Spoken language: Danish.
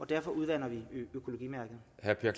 derfor udvander økologimærket